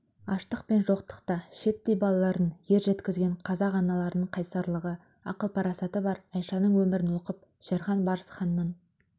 пен жоқтықта шиеттей балаларын ер жеткізген қазақ аналарының қайсарлығы ақыл-парасаты бар айшаның өмірін оқып шерхан-барсханның